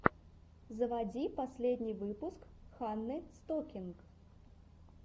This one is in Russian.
заводи последний выпуск ханны стокинг